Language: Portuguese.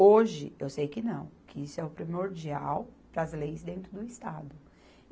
Hoje, eu sei que não, que isso é o primordial para as leis dentro do Estado.